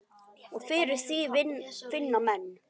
Og fyrir því finna menn.